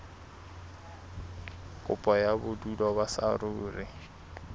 kopo ya bodulo ba saruri